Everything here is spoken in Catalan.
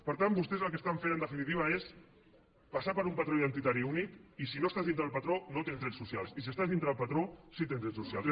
per tant vostès el que estan fent en definitiva és passar per un patró identitari únic i si no estàs dintre del patró no tens drets socials i si estàs dintre del patró sí que tens drets socials